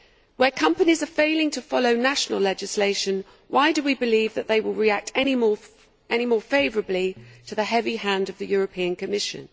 Where companies are failing to follow national legislation, why do we believe that they will react any more favourably to the heavy hand of the Commission?